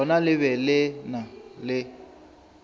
lona le be le na